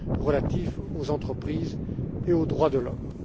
relatifs aux entreprises et aux droits de l'homme.